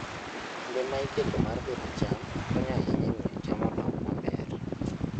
Kinde ma iketo mar pidho cham konyo ahinya e miyo cham odongi maber.